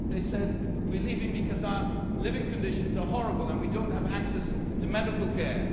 They say we are leaving because our living conditions are horrible and we do not have access to medical care'.